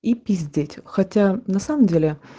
и пиздеть хотя на самом деле